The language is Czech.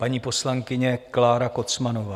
Paní poslankyně Klára Kocmanová.